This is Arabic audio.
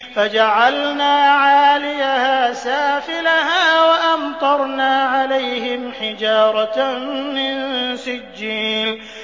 فَجَعَلْنَا عَالِيَهَا سَافِلَهَا وَأَمْطَرْنَا عَلَيْهِمْ حِجَارَةً مِّن سِجِّيلٍ